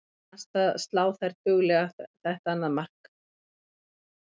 Mér fannst það slá þær duglega þetta annað mark.